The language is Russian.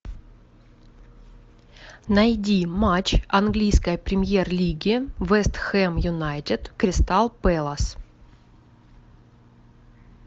найди матч английской премьер лиги вест хэм юнайтед кристал пэлас